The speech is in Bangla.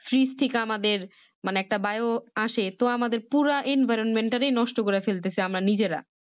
Frij Tick আমাদের মানে একটা বায়ু আসে আসে তো আমাদের পুরা environment তারই নষ্ট করে ফেলতেছে আমরা নিজেরা